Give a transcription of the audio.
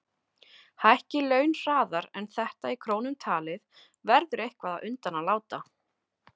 Hækki laun hraðar en þetta í krónum talið verður eitthvað undan að láta.